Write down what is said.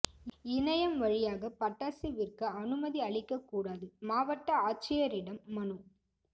இணையம் வழியாக பட்டாசு விற்க அனுமதி அளிக்கக் கூடாது மாவட்ட ஆட்சியரிடம் மனு